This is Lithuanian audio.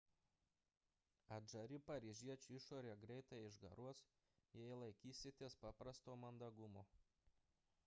atžari paryžiečių išorė greitai išgaruos jei laikysitės paprasto mandagumo